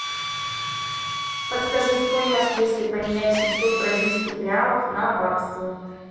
подскажи стоимость если поменять семьсот бразильских реалов на баксы